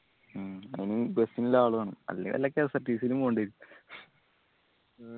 മ്മ് bus ഇള്ള ആള് വേണം അല്ലെ വല്ല KSRTC യിലും പോണ്ടേ വരും